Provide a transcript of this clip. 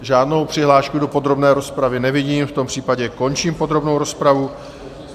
Žádnou přihlášku do podrobné rozpravy nevidím, v tom případě končím podrobnou rozpravu.